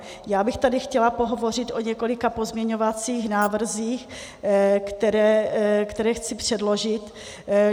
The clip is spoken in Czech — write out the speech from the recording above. Já bych tady chtěla pohovořit o několika pozměňovacích návrzích, které chci předložit.